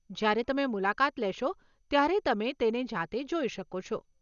જ્યારે તમે મુલાકાત લેશો, ત્યારે તમે તેને જાતે જોઈ શકો છો.